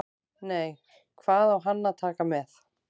Nei, hvað á hann að taka með?